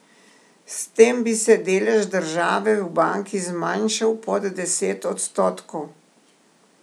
S tem bi se delež države v banki zmanjšal pod deset odstotkov.